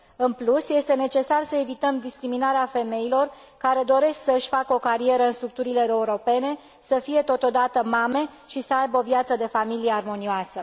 În plus, este necesar să evităm discriminarea femeilor care doresc să își facă o carieră în structurile europene, să fie totodată mame și să aibă o viață de familie armonioasă.